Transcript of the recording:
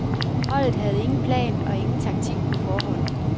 Holdet havde ingen plan og ingen taktik på forhånd.